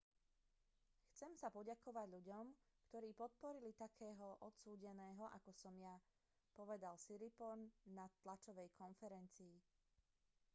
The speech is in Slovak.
chcem sa poďakovať ľuďom ktorí podporili takého odsúdeného ako som ja povedal siriporn na tlačovej konferencii